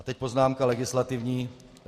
A teď poznámka legislativní.